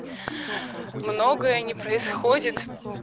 многое не происходит